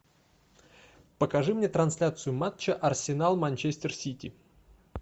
покажи мне трансляцию матча арсенал манчестер сити